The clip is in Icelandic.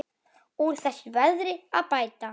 Úr þessu verði að bæta.